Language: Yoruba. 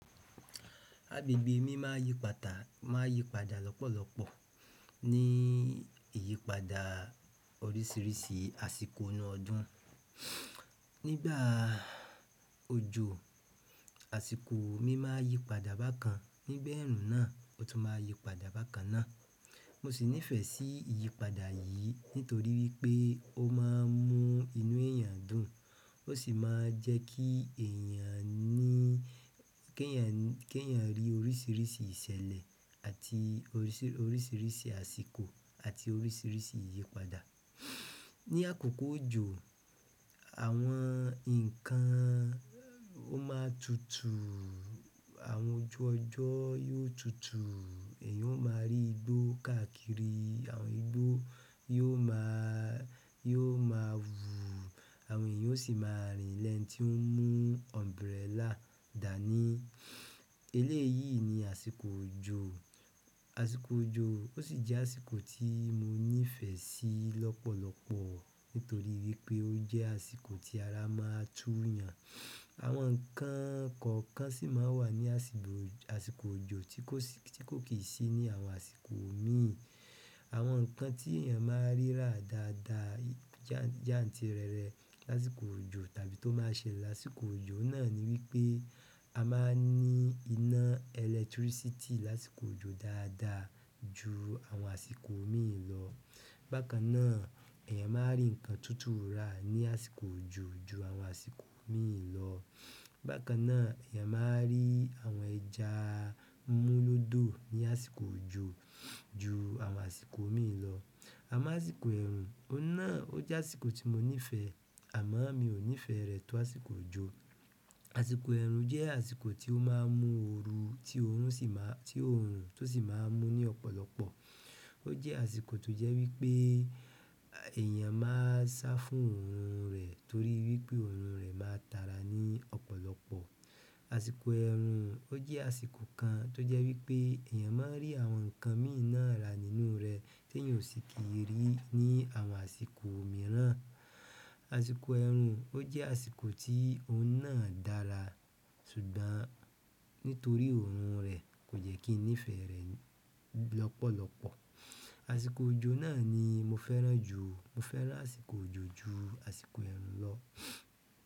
Agbègbè mí máa yí padà, máa yí padà lọ́pọ̀lọpọ̀ ní ìyípadà oríṣìíríṣìí àsìkò inú ọdún. Nígbà òjò, àsìkò mí máa yí padà bákan. Nígbà eerun náà o tun maa n yi padà bákan náà. Mo sì nífẹ̀ẹ́ sí ìyípadà yìí nítorí wípé ó máa ń mú inú èèyàn dùn ó sì máa ń jẹ́ kí èèyàn ní, kí èèyàn, kí èèyàn rí oríṣìíríṣìí ìṣẹ̀lẹ̀ àti oríṣì, oríṣìíríṣìí àsìkò àti oríṣìíríṣìí ìyípadà. Ni àkókò òjò, àwọn nǹkan ó máa tutù, àwọn ojú ọjọ́ yóò tutù, èèyàn ó máa rí igbó káàkiri, àwọn igbó yóò ma, yóò ma wú, àwọn èèyàn ó sì máa rìn lẹ́ni tí ń mú umbrella dà ní. Eléyìí ni àsìkò òjò. Àsìkò òjò ó sì jẹ́ àsìkò tí mo nífẹ̀ẹ́ sí lọ́pọ̀lọpọ̀ nítorí wípé ó jẹ́ àsìkò tí ara má a tú yàn. Àwọn nǹkan kọ̀ọ̀kan sì máa ń wà ní àsìkò, àsìkò òjò tí kò sì, tí kò kì í sí ní àwọn àsìkò míì. Àwọn nǹkan tí èèyàn máa rí rà dáadáa jàǹtìrẹrẹ lásìkò òjò tàbí tó máa ṣe lásìkò òjò náà ni wípé a máa ń ní iná ẹlẹtírísítì lásìkò òjò dáadáa ju àwọn àsìkò òmíì lọ. Bákan náà èèyàn máa rí nǹkan tutù ra ní àsìkò òjò ju àwọn àsìkò òmíì lọ. Bákan náà èèyàn máa rí àwọn ẹja múlódò ní àsìkò òjò ju àwọn àsìkò òmíì lọ. A mo àsìkò eerun oun náà je àsìkò ti mo nife amo mio nife re to àsìkò ojo, àsìkò eerun je àsìkò to maa n mu ooru ti oorun si maa n mun ni ọ̀pọ̀lọpọ̀. Ó jẹ́ àsìkò tó jẹ́ wípé èèyàn máa sá fún òórùn rẹ̀ torí wípé òórùn rẹ̀ máa tara ní ọ̀pọ̀lọpọ̀. Àsìkò eerun o je àsìkò kan to je wípé eeyan mo n ri àwọn nkan mi náà ra nínú re ti eeyan o si ni ri ni àwọn àsìkò mìíràn. Àsìkò ẹ̀rùn ó jẹ́ àsìkò tí ó náà dára ṣùgbọ́n nítorí òórùn rẹ̀ kò jẹ́ kí nífẹ̀ẹ́ rẹ̀ lọ́pọ̀lọpọ̀. Àsìkò òjò náà ni mo fẹ́ràn jù. Mo fẹ́ràn àsìkò òjò ju àsìkò ẹ̀rùn lọ.